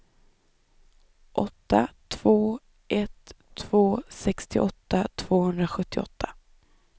åtta två ett två sextioåtta tvåhundrasjuttioåtta